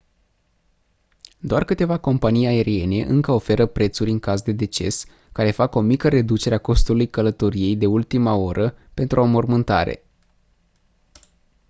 doar câteva companii aeriene încă oferă prețuri în caz de deces care fac o mică reducere a costului călătoriei de ultima oră pentru o înmormântare